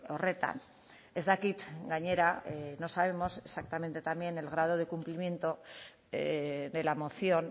horretan ez dakit gainera no sabemos exactamente también el grado de cumplimiento de la moción